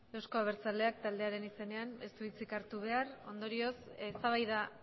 eusko abertsaleak taldearen izenean ez du hitzik hartu behar ondorioz eztabaida